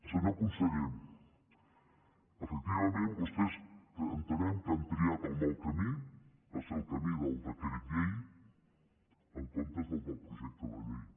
senyor conseller efectivament vostès entenem que han triat el mal camí va ser el camí del decret llei en comptes del del projecte de llei